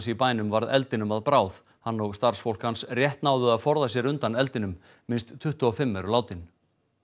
í bænum varð eldinum að bráð hann og starfsfólk hans rétt náðu að forða sér undan eldinum minnst tuttugu og fimm eru látin